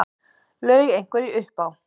Laug einhverju upp á